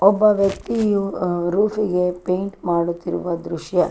ಒಬ್ಬ ವ್ಯಕ್ತಿಯು ರೂಫ್ ಗೆ ಪೈಂಟ್ ಮಾಡುತ್ತಿರುವ ದೃಶ್ಯ.